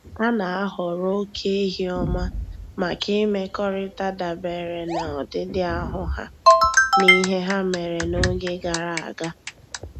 A na-ahọrọ oke ehi ọma maka imekọrịta dabere na ọdịdị ahụ ha na ihe ha mere n’oge gara aga.